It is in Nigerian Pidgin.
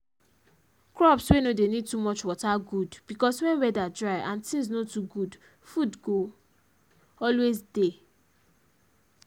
crops wey no dey need too much water good because when weather dry and things no too good food go always dey